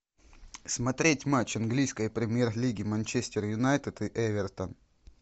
смотреть матч английской премьер лиги манчестер юнайтед и эвертон